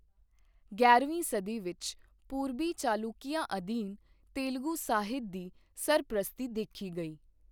ਗਿਆਰਵੀਂ ਸਦੀ ਵਿੱਚ ਪੂਰਬੀ ਚਾਲੁਕੀਆਂ ਅਧੀਨ ਤੇਲਗੂ ਸਾਹਿਤ ਦੀ ਸਰਪ੍ਰਸਤੀ ਦੇਖੀ ਗਈ।